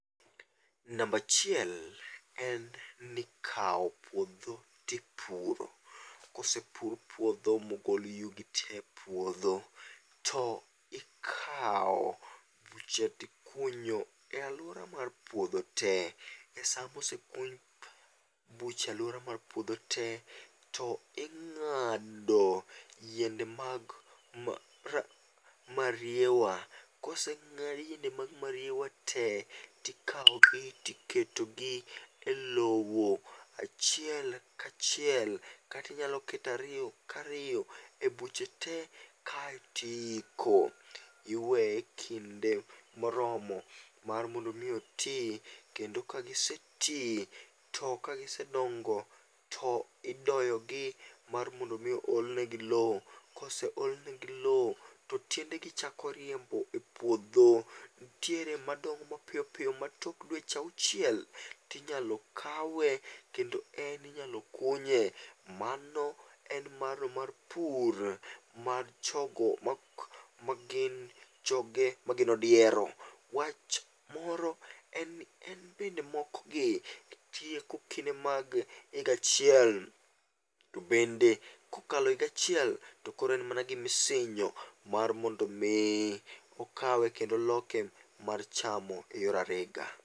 Namba achiel, en ni ikawo puodho to ipuro. Ka osepur puodho ma ogol yugi tee e puodho to ikawo buche to ikunyo e aluora mar puodho te. Sama ose kuny buche e aluora mar puodho tee, to ing'ado yiende mag mariewa koseng'ad yiende mag mariewa tee to ikawogi to iketogi elowo achiel kachiel kata inyalo keto ariyo kariyo ebuche tee kaeto iyiko iweye ekinmde moromo mar mondo mi oti kendo ka giseti, to ka gisedongo to idoyogi mar mondo mi ool negi lowo. Ka ose olnegi lowo to tiendegi chako riembo e puodho. Nitie madongo mapiyo piyo ma tok dweche auchiel tinyalo kawe kendo en inyalo kunye. Mano en maro mar pur mar choko magin joge magin odiero. Wach moro en ni en bende mokogi tieko kinde mag higa achiel to bende kokalo higa achiel to koro en mana gima isinyo mar mondo mi okawe kendo loke mar chamo eyor arega.